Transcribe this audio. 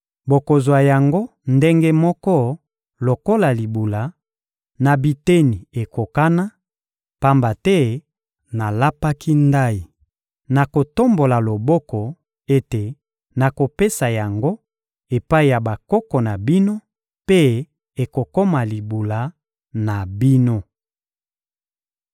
Bokozwa yango ndenge moko lokola libula, na biteni ekokana; pamba te nalapaki ndayi, na kotombola loboko, ete nakopesa yango epai ya bakoko na bino, mpe ekokoma libula na bino.